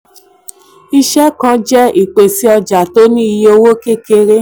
iṣẹ kan le jẹ ipese ọja tí o ní iye owo kekere.